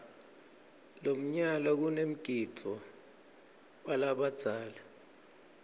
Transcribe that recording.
lomnyala kanemgidvo walabadzala